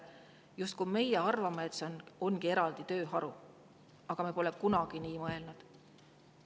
Justkui meie arvame, et see on eraldi tööharu, aga me pole kunagi nii mõelnud.